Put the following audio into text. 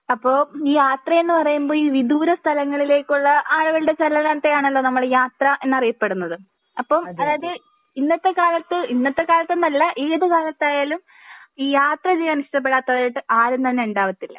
അപ്പൊ യാത്രയെന്ന് പറയുമ്പോ ഈ വിദൂര സ്ഥലങ്ങളിലേക്കുള്ള ആളികളുടെ ചലനത്തെ ആണലോ നമ്മൾ യാത്ര എന്നറിയപ്പെടുന്നത്. അപ്പൊ അതായത് ഇന്നത്തെ കാലത്ത് ഇന്നത്തെ കാലത്തെന്നല്ല ഏത് കാലത്തായാലും ഈ യാത്ര ചെയ്യാൻ ഇഷ്ടപ്പെടാത്തതായിട്ട് ആരും തന്നെ ഉണ്ടാവാത്തില്ല